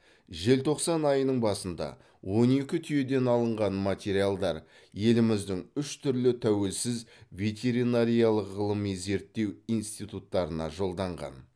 желтоқсан айының басында он екі түйеден алынған материалдар еліміздің үш түрлі тәуелсіз ветеринариялық ғылыми зерттеу институттарына жолданған